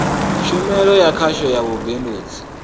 tshumelo ya khasho ya vhubindudzi